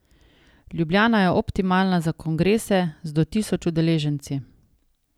Ljubljana je optimalna za kongrese z do tisoč udeleženci.